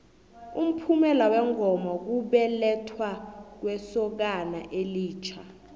umphumela wengoma kubelethwa kwesokana elitjha